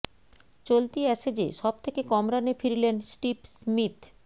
চলতি অ্যাসেজে সব থেকে কম রানে ফিরলেন স্টিভ স্মিথ